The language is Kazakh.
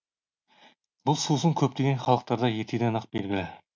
бұл сусын көптеген халықтарда ертеден ақ белгілі